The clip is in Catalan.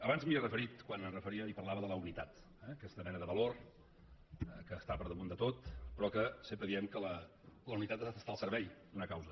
abans m’hi he referit quan em referia i parlava de la unitat eh aquesta mena de valor que està per damunt de tot però que sempre diem que la unitat ha d’estar al servei d’una causa